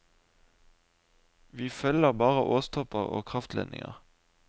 Vi følger bare åstopper og kraftledninger.